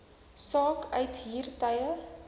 saak uithuur tye